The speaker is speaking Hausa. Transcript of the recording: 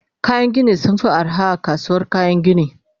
kayan Gini sunfi arha a kasuwar kayan Gini